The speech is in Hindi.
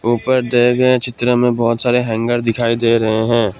ऊपर दिए गए चित्रों में बहुत सारे हैंगर दिखाई दे रहे हैं।